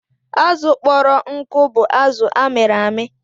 Azụ kpọrọ nkụ bụ azụ amịrị amị.